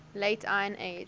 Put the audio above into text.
late iron age